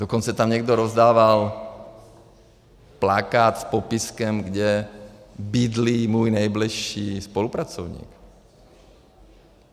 Dokonce tam někdo rozdával plakát s popiskem, kde bydlí můj nejbližší spolupracovník.